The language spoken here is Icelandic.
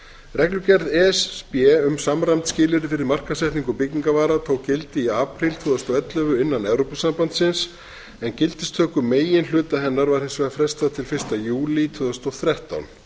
reglugerð e s b um samræmd skilyrði fyrir markaðssetningu byggingarvara tók gildi í apríl tvö þúsund og ellefu innan evrópusambandsins en gildistöku meginhluta hennar var hins vegar frestað til fyrsta júlí tvö þúsund og þrettán